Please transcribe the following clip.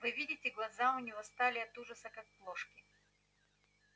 вы видите глаза у нее стали от ужаса как плошки